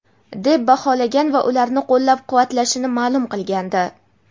deb baholagan va ularni qo‘llab-quvvatlashini ma’lum qilgandi.